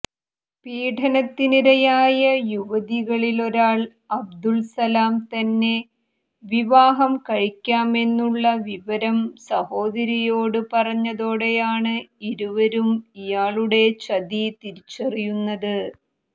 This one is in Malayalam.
പീഡനത്തിനിരയായ യുവതികളിലൊരാൾ അബ്ദുൽ സലാം തന്നെ വിവാഹം കഴിക്കാമെന്നുള്ള വിവരം സഹോദരിയോടു പറഞ്ഞതോടെയാണ് ഇരുവരും ഇയാളുടെ ചതി തിരിച്ചറിയുന്നത്